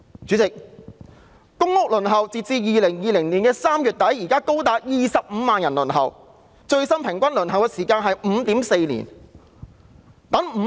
主席，截至2020年3月底，有高達25萬人在輪候公屋，最新的平均輪候時間是 5.4 年。